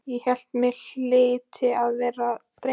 Ég hélt mig hlyti að vera að dreyma.